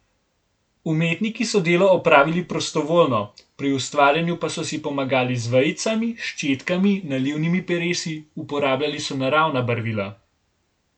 Umetniki so delo opravili prostovoljno, pri ustvarjanju pa so si pomagali z vejicami, ščetkami, nalivnimi peresi, uporabljali so naravna barvila ...